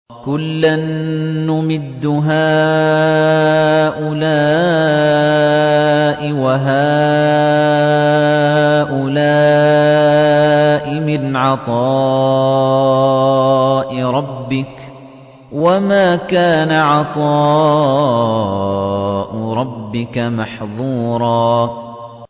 كُلًّا نُّمِدُّ هَٰؤُلَاءِ وَهَٰؤُلَاءِ مِنْ عَطَاءِ رَبِّكَ ۚ وَمَا كَانَ عَطَاءُ رَبِّكَ مَحْظُورًا